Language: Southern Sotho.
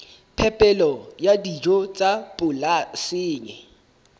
phepelo ya dijo tsa polasing